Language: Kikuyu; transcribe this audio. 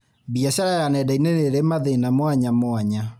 Biacara ya nenda-inĩ nĩrĩ mathĩna mwanyamwanya